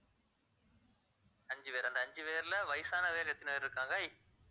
அஞ்சு பேர் அந்த அஞ்சு பேர்ல வயசானவங்க பேர் எத்தனை பேர் இருக்காங்க